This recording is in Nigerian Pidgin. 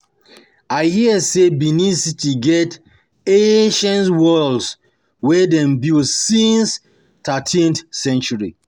I hear sey Benin-City get ancient walls wey dem build since 13th Century.